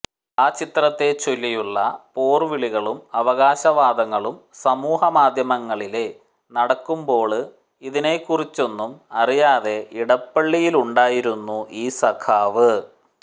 ആ ചിത്രത്തെച്ചൊല്ലിയുള്ള പോര്വിളികളും അവകാശവാദങ്ങളും സമൂഹമാധ്യമങ്ങളില നടക്കുമ്പോള് ഇതിനേക്കുറിച്ചൊന്നും അറിയാതെ ഇടപ്പള്ളിയിലുണ്ടായിരുന്നു ഈ സഖാവ്